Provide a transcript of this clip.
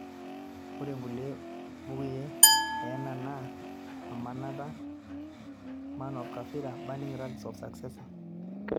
Ore inkulie bookui enyena naa Aminata, man of kafira, burning rugs o the successor